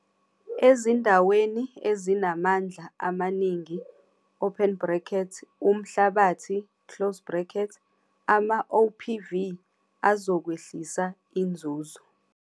Ezindaweni ezinamandla amaningi, umhlabathi, amaOPV azokwehlisa inzuzo.